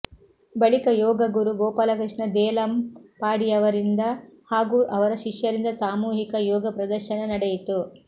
ಬಳಿಕ ಯೋಗಗುರು ಗೋಪಾಲಕೃಷ್ಣ ದೇಲಂಪಾಡಿಯವರಿಂದ ಹಾಗೂ ಅವರ ಶಿಷ್ಯರಿಂದ ಸಾಮೂಹಿಕ ಯೋಗ ಪ್ರದರ್ಶನ ನಡೆಯಿತು